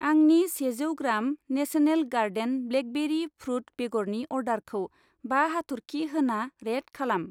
आंनि सेजौ ग्राम नेशनेल गार्डेन ब्लेकबेरि फ्रुट बेगरनि अर्डारखौ बा हाथरखि होना रेट खालाम।